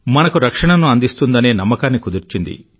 మనకు రక్షణను అందిస్తుందనే నమ్మకాన్ని కుదిర్చింది